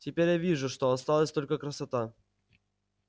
теперь я вижу что осталась только красота